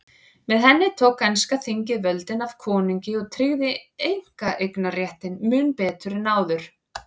Með henni tók enska þingið völdin af konungi og tryggði einkaeignarréttinn mun betur en áður.